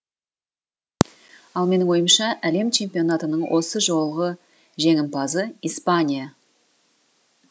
ал менің ойымша әлем чемпионатының осы жолғы жеңімпазы испания